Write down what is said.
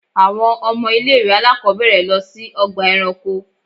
Àwọn ọmọ ilé ìwé àlákóbèrè lọ sí ọgbà eranko.